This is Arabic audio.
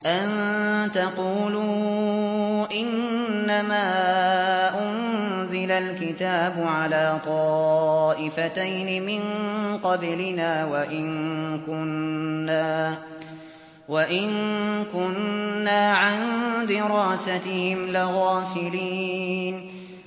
أَن تَقُولُوا إِنَّمَا أُنزِلَ الْكِتَابُ عَلَىٰ طَائِفَتَيْنِ مِن قَبْلِنَا وَإِن كُنَّا عَن دِرَاسَتِهِمْ لَغَافِلِينَ